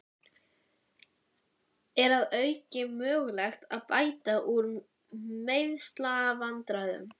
Er að auki möguleiki á að bæta úr meiðslavandræðunum?